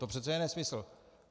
To přece je nesmysl!